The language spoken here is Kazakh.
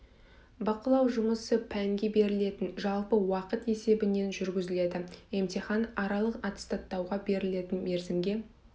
бақылау жұмысы пәнге берілетін жалпы уақыт есебінен жүргізіледі емтихан аралық аттестаттауға берілетін мерзімге